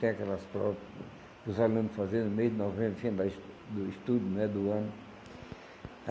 Tem aquelas provas para os alunos fazer no mês de novembro, no fim da do estudo né, do ano.